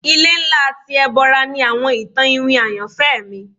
Ile nla ti Ebora ni awọn itan iwin ayanfẹ mi